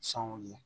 Sanw ye